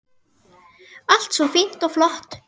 Allt svo fínt og flott.